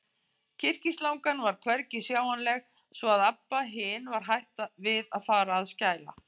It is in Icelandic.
Kyrkislangan var hvergi sjáanleg, svo að Abba hin var hætt við að fara að skæla.